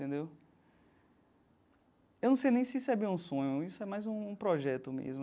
Entendeu eu não sei nem se isso é bem um sonho, isso é mais um projeto mesmo.